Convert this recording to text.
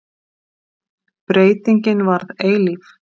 Breytingin varð eilíf.